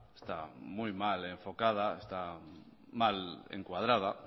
está muy mal enfocada está mal encuadrada